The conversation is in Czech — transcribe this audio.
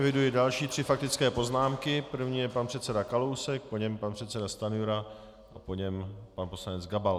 Eviduji další tři faktické poznámky, první je pan předseda Kalousek, po něm pan předseda Stanjura a po něm pan poslanec Gabal.